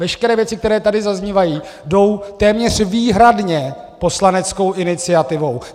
Veškeré věci, které tady zaznívají, jdou téměř výhradně poslaneckou iniciativou.